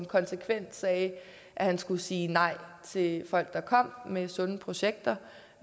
konsekvent sagde at han skulle sige nej til folk der kom med sunde projekter